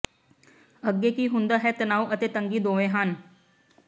ਅੱਗੇ ਕੀ ਹੁੰਦਾ ਹੈ ਤਣਾਓ ਅਤੇ ਤੰਗੀ ਦੋਵੇਂ ਹਨ